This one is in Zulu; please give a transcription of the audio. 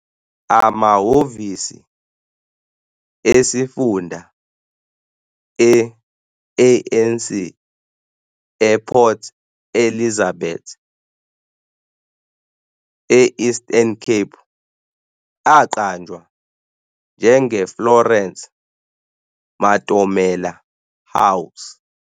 Amahhovisi esifunda e-ANC ePort Elizabeth, e-Eastern Cape aqanjwa njengeFlorence Matomela House.